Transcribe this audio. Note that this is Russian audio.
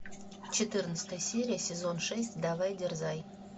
четырнадцатая серия сезон шесть давай дерзай